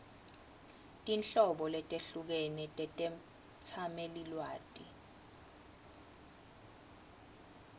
tinhlobo letehlukene tetetsamelilwati